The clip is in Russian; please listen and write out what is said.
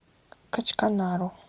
качканару